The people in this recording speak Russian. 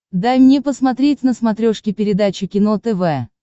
дай мне посмотреть на смотрешке передачу кино тв